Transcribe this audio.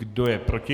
Kdo je proti?